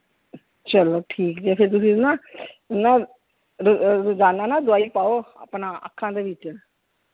ਚਲੋ ਠੀਕ ਹੈ ਫਿਰ ਤੁਸੀਂ ਨਾ, ਨਾ ਅਹ ਰੋਜ਼ਾਨਾ ਨਾ ਦਵਾਈ ਪਾਓ ਆਪਣਾ ਅੱਖਾਂ ਦੇ ਵਿਚ।